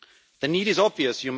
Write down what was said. The need is obvious.